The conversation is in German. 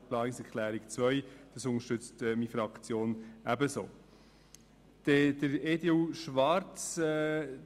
Die Fraktion SP-JUSO-PSA unterstützt die Planungserklärung 2 ebenso.